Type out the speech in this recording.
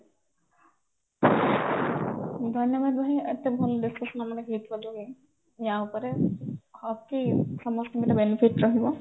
ଧନ୍ୟବାଦ ଭାଇ ଏତେ ଭଲ discussion ଆମର ହେଇଥିବା ଯୋଗୁ ଯ ଉପରେ hope କି ସମସ୍ତଙ୍କୁ ଏଇଟା benefit ରହିବ